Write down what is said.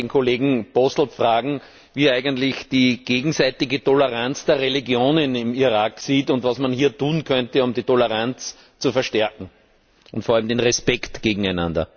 Ich möchte den Kollegen Posselt fragen, wie er eigentlich die gegenseitige Toleranz der Religionen im Irak sieht, und was man hier tun könnte, um die Toleranz zu verstärken und vor allem den Respekt füreinander.